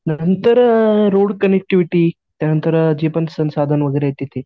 नंतर road connectivity त्यांनतर जे पण संसाधन वगैरे आहेत तिथे